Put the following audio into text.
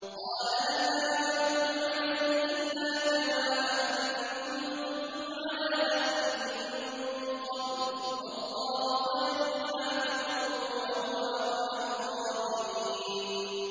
قَالَ هَلْ آمَنُكُمْ عَلَيْهِ إِلَّا كَمَا أَمِنتُكُمْ عَلَىٰ أَخِيهِ مِن قَبْلُ ۖ فَاللَّهُ خَيْرٌ حَافِظًا ۖ وَهُوَ أَرْحَمُ الرَّاحِمِينَ